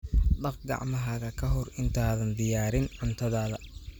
Dhaq gacmahaaga ka hor intaadan diyaarin cuntadaada.